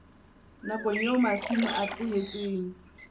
nakong eo masimo a tlohetsweng